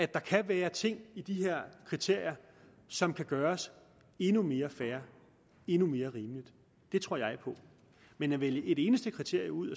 der kan være ting i de her kriterier som kan gøres endnu mere fair endnu mere rimeligt det tror jeg på men at vælge et eneste kriterium ud